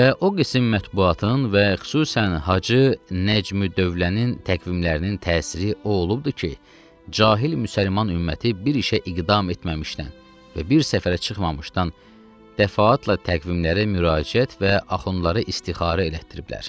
Və o qisim mətbuatın və xüsusən Hacı Nəcmi dövlənin təqvimlərinin təsiri o olubdur ki, cahil müsəlman ümməti bir işə iqdam etməmişdən və bir səfərə çıxmamışdan dəfaatla təqvimlərə müraciət və axundları istixarə elətdiriblər.